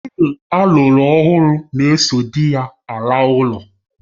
Nwunye alụru ọhụrụ na-eso dị ya ala ụlọ